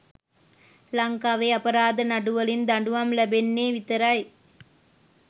ලංකාවෙ අපරාධ නඩු වලින් දඩුවම් ලැබෙන්නෙ විතරයි.